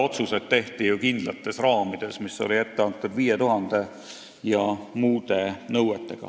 Otsused tehti ju samal ajal kindlates raamides – 5000 elaniku nõue ja muud nõuded.